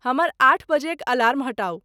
हमर आठ बजेक अलार्म हटाउ।